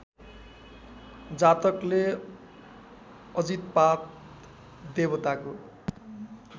जातकले अजितपाद देवताको